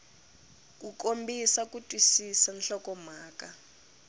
ku kombisa ku twisisa nhlokomhaka